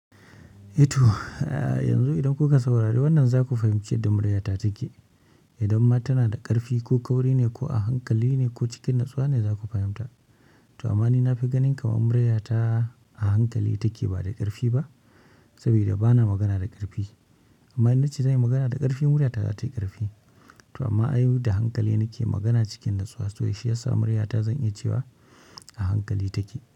Eh to, yanzu idan kuka saurari wannan za ku fahimci yadda muryata take. Idan ma tana da ƙarfi ko kauri ne ko a hankali ne ko cikin natsuwa ne za ku fahimta. To amma ni na fi ganin kamar murya ta a hankali take ba da ƙarfi ba, saboda bana magana da ƙarfi. Amma in na ce zan yi magana da ƙarfi, murya ta za ta yi ƙarfi. To amma ai da hankali nake magana cikin natsuwa so shi yasa murya ta zan iya cewa a hankali take.